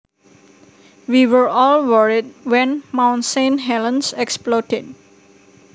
We were all worried when Mount Saint Helens exploded